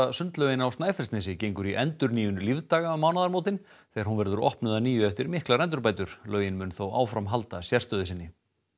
sundlaugin á Snæfellsnesi gengur í endurnýjun lífdaga um mánaðamótin þegar hún verður opnuð að nýju eftir miklar endurbætur laugin mun þó áfram halda sérstöðu sinni